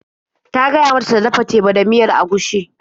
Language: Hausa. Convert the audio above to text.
Ta gaya mata ta dafa teba da miyar agushi.